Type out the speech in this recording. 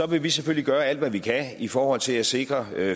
vil vi selvfølgelig gøre alt hvad vi kan i forhold til at sikre